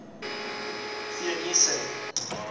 theunissen